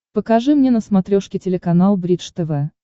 покажи мне на смотрешке телеканал бридж тв